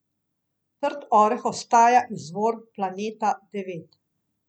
Trd oreh ostaja izvor Planeta devet.